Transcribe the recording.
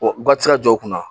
O garisikɛw kunna